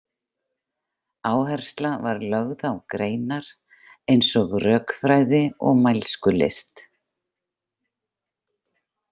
Áhersla var lögð á greinar eins og rökfræði og mælskulist.